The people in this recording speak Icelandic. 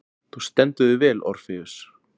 Þú stendur þig vel, Orfeus!